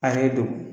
A yɛrɛ don